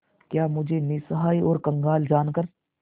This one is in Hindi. क्या मुझे निस्सहाय और कंगाल जानकर